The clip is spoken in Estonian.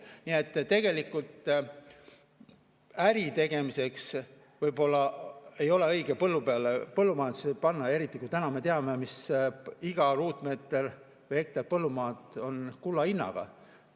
Nii et tegelikult äritegemiseks võib-olla ei ole õige põllu peale panna, eriti kui me teame, et iga ruutmeeter või hektar põllumaad on kulla hinnaga.